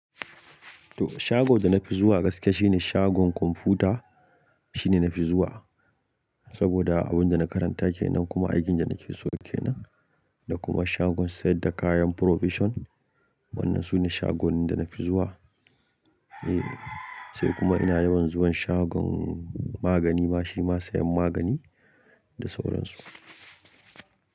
To shagon da na fi zuwa gaskiya shine shagon kwamfuta shine na fi zuwa. Saboda abun da na karanta kenan kuma aikin da nake so kenan. Da kuma shagon sayadda kayan provision. Wannan sune shagon da na fi zuwa. Eh, sai kuma ina yawan zuwan shagon magani. Ma shima sayan magani da sauran su.